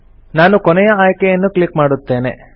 ನಾನು ಕೊನೆಯ ಆಯ್ಕೆಯನ್ನು ಕ್ಲಿಕ್ ಮಾಡುತ್ತೇನೆ